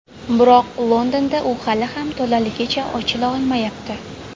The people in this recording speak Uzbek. Biroq Londonda u hali ham to‘laligicha ochila olmayapti.